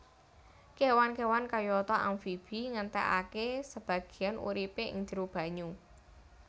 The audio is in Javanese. Kéwan kéwan kayata amfibi ngentèkaké sebagéyan uripé ing njero banyu